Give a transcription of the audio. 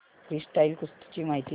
freestyle कुस्ती ची माहिती दे